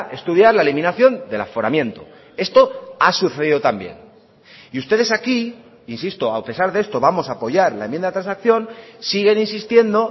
estudiar la eliminación del aforamiento esto ha sucedido también y ustedes aquí insisto a pesar de esto vamos a apoyar la enmienda de transacción siguen insistiendo